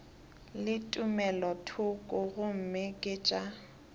le tumelothoko gomme ke tša